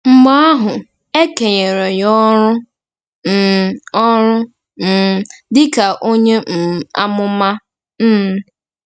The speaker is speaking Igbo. Mgbe ahụ, e kenyere ya ọrụ um ọrụ um dị ka onye um amụma. um